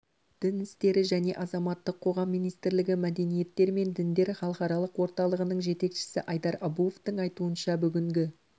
дін істері және азаматтық қоғам министрлігі мәдениеттер мен діндер халықаралық орталығының жетекшісі айдар абуовтың айтуынша бүгінгі